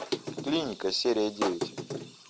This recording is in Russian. клиника серия девять